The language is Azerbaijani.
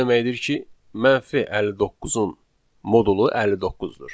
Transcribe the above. Bu o deməkdir ki, 59-un modulu 59-dur.